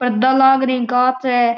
पर्दा लागरी है काँच है।